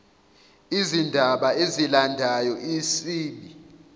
izindaba ezilandayo isib